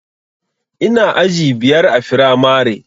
Ina aji biyar a firamare